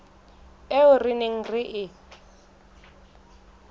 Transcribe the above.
eo re neng re e